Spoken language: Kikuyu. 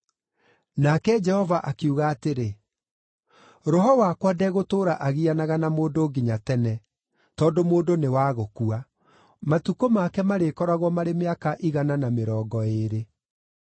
Nake Jehova akiuga atĩrĩ, “Roho wakwa ndegũtũũra agianaga na mũndũ nginya tene, tondũ mũndũ nĩ wa gũkua; matukũ make marĩkoragwo marĩ mĩaka igana na mĩrongo ĩĩrĩ.”